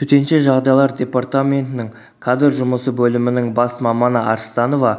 төтенше жағдайлар департаментінің кадр жұмысы бөлімінің бас маманы арстанова